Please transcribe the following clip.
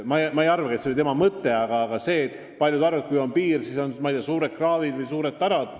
Samas ma ei usu, et see oli tema mõte, aga paljud arvavad, et kui on piir, siis olgu, ma ei tea, suured kraavid või suured tarad.